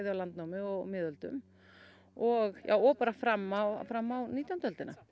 landnámi og miðöldum og og bara fram á fram á nítjándu öldina